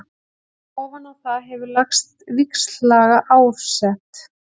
Ofan á það hefur lagst víxllaga árset.